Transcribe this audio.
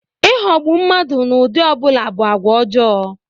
Ịghọgbụ mmadụ n'ụdị ọ bụla bụ agwa ọjọọ.